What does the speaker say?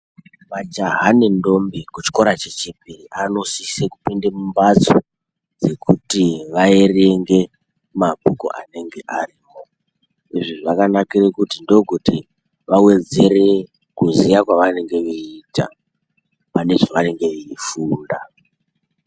Majaha ne ndombi ye chikora che chipiri vano sise kupinde mu mbatso dzekuti va erenge mabhuku anenge ariko izvi zvakanakire kuti ndo kuti va wedzere kuziya kwava nenge veita pane zvavanenge veyi funda.